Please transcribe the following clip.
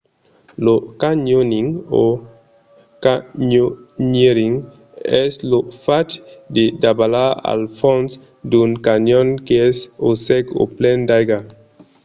lo canyoning o: canyoneering es lo fach de davalar al fons d'un canyon qu'es o sec o plen d'aiga